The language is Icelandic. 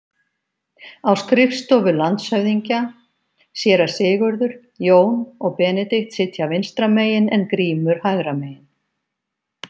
Á skrifstofu landshöfðingja: Séra Sigurður, Jón og Benedikt sitja vinstra megin en Grímur hægra megin.